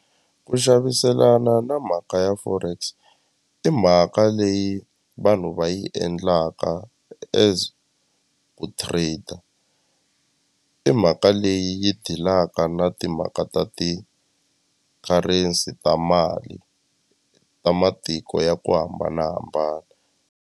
Ku xaviselana na mhaka ya forex imhaka leyi vanhu va yi endlaka as ku trader i mhaka leyi dilaka na timhaka ta ti-currency ta mali ta matiko ya ku hambanahambana.